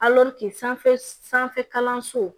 sanfɛ sanfɛ kalanso